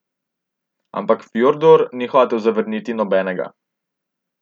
Ampak Fjordur ni hotel zvrniti nobenega.